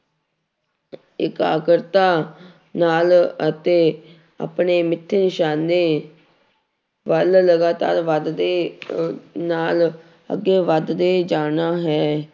ਇਕਾਗਰਤਾ ਨਾਲ ਅਤੇ ਆਪਣੇ ਮਿੱਥੇ ਨਿਸ਼ਾਨੇ ਵੱਲ ਲਗਾਤਾਰ ਵੱਧਦੇ ਅਹ ਨਾਲ ਅੱਗੇ ਵੱਧਦੇ ਜਾਣਾ ਹੈ।